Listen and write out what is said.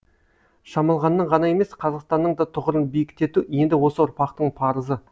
шамалғанның ғана емес қазақстанның да тұғырын биіктету енді осы ұрпақтың парызы